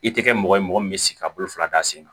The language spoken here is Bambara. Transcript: I tɛ kɛ mɔgɔ ye mɔgɔ min bɛ sigi ka bolo fila da sen kan